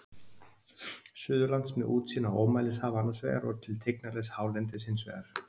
Suðurlands, með útsýn á ómælishaf annars vegar og til tignarlegs hálendis hins vegar.